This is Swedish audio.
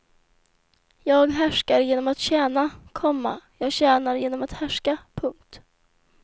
Jag härskar genom att tjäna, komma jag tjänar genom att härska. punkt